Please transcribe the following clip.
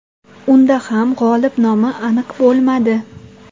Unda ham g‘olib nomi aniq bo‘lmadi.